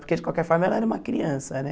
Porque, de qualquer forma, ela era uma criança, né?